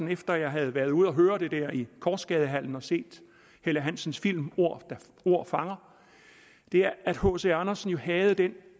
efter at jeg havde været ude at høre det her i korsgadehallen og set helle hansens film ordet ordet fanger er at hc andersen jo havde den